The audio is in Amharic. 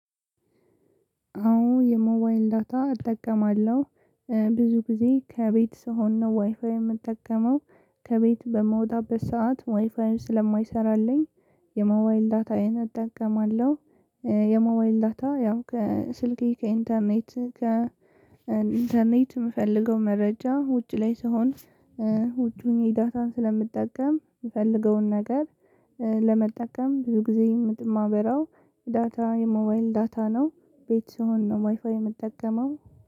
አዎ የሞባይል ዳታ እጠቀማለሁ ብዙ ጊዜ ከቤት ስሆን ነው ዋይፋይ የምጠቀመው ከቤት በምወጣበት ሰዓት ዋይፋዩ ስለማይሰራልኝ የሞባይል ዳታዬን አጠቀማለው። የሞባይል ዳታ ያው ከስልኬ ከኢንተርኔት ከ ኢንተርኔት ምፈልገው መረጃ ውጪ ላይ ስሆን። ውጪ ሆኜ ዳታን ስለምጠቀም ምፈልገውን ነገር ለመጠቀም ብዙ ጊዜ የማበራው ዳታ የሞባይል ዳታ ነው። ቤት ስሆን ነው ዋይፋይ የምጠቀመው